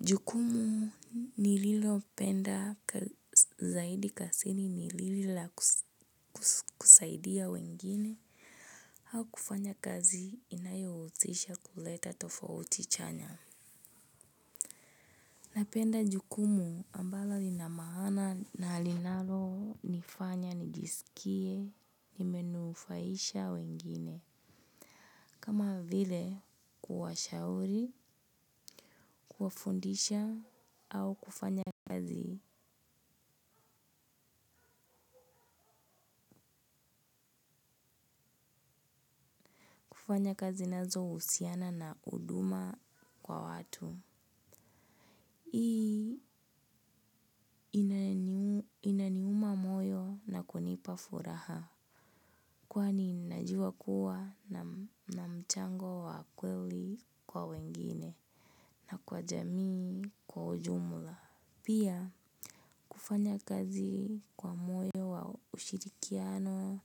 Jukumu nililopenda zaidi kazini ni lile la kusaidia wengine au kufanya kazi inayotisha kuleta tofauti chanya. Napenda jukumu ambalo lina maana na linalonifanya nijisikie nimenufaisha wengine. Kama vile kuwashauri, kuwafundisha, au kufanya kazi. Kufanya kazi nazo uhusiana na huduma kwa watu. Hii inaniuma moyo na kunipa furaha. Kwani najua kuwa na mchango wa kweli kwa wengine. Na kwa jamii kwa ujumla. Pia kufanya kazi kwa moyo wa ushirikiano.